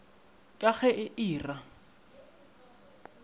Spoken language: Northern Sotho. ka ge e e ra